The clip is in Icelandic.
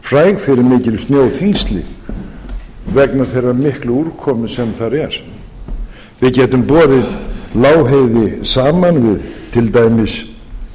fræg fyrir mikil snjóþyngsli vegna þeirrar miklu úrkomu sem þar er við getum borið lágheiði saman við til dæmis